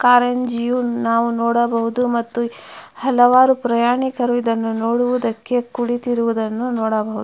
ಕಾರಂಜಿಯು ನಾವು ನೋಡಬಹುದು ಮತ್ತು ಹಲವಾರು ಪ್ರಯಾಣಿಕರು ಇದನ್ನು ನೋಡುವುದಕ್ಕೆ ಕುಳಿತಿರುವುದನ್ನು ನೋಡಬಹುದು --